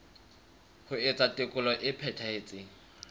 ho etsa tekolo e phethahetseng